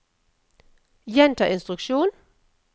gjenta instruksjon